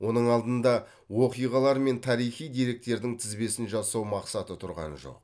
оның алдында оқиғалар мен тарихи деректердің тізбесін жасау мақсаты тұрған жоқ